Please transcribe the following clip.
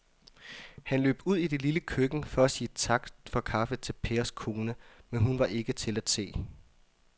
Han løb ud i det lille køkken for at sige tak for kaffe til Pers kone, men hun var ikke til at se.